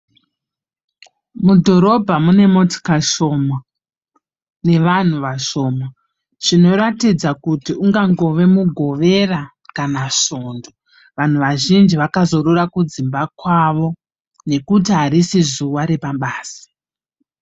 Mudhorobha mune motika shoma nevanhu vashoma. Zvinoratidza kuti ungangove Mugovera kana Svondo. Vanhu vazhinji vakazorora kudzimba kwavo nekuti harisi zuva repabasa.